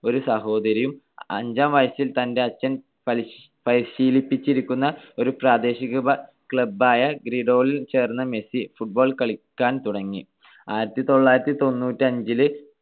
ഒരു സഹോദരിയും. അഞ്ചാം വയസ്സിൽ, തന്റെ അച്‌ഛൻ പരിശീലിപ്പിച്ചിരിക്കുന്ന ഒരു പ്രാദേശിക club ആയ ഗ്രൻഡോളിയിൽ ചേർന്ന മെസ്സി football കളിക്കാൻ തുടങ്ങി.